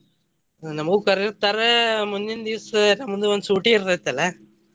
ನಮಗು ಕರದಿರ್ತಾರ ಮುಂದಿನ ದಿವಸ ನಮ್ದು ಒಂದ ಸೂಟಿ ಇರತೈತಲ್ಲ.